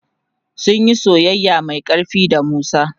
sunyi soyayya Mai ƙarfi da musa